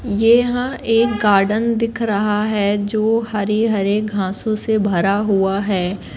ये यहां एक गार्डन दिख रहा है जो हरे हरे घासो से भरा हुआ है।